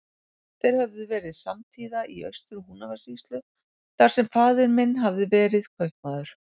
Þeir höfðu verið samtíða í Austur-Húnavatnssýslu, þar sem faðir minn hafði verið kaupamaður.